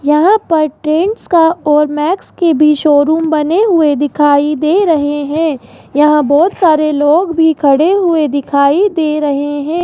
यहां पर ट्रेंड्स का और मैक्स के भी शोरूम बने हुए दिखाई दे रहे हैं यहां बहोत सारे लोग भी खड़े हुए दिखाई दे रहे हैं।